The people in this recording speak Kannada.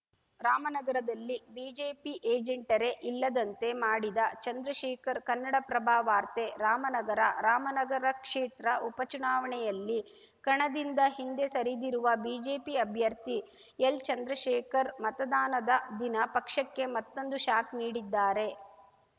ರಾಮನಗರದಲ್ಲಿ ಬಿಜೆಪಿ ಏಜೆಂಟರೇ ಇಲ್ಲದಂತೆ ಮಾಡಿದ ಚಂದ್ರಶೇಖರ್‌ ಕನ್ನಡಪ್ರಭ ವಾರ್ತೆ ರಾಮನಗರ ರಾಮನಗರ ಕ್ಷೇತ್ರ ಉಪಚುನಾವಣೆಯಲ್ಲಿ ಕಣದಿಂದ ಹಿಂದೆ ಸರಿದಿರುವ ಬಿಜೆಪಿ ಅಭ್ಯರ್ಥಿ ಎಲ್‌ಚಂದ್ರಶೇಖರ್‌ ಮತದಾನದ ದಿನ ಪಕ್ಷಕ್ಕೆ ಮತ್ತೊಂದು ಶಾಕ್‌ ನೀಡಿದ್ದಾರೆ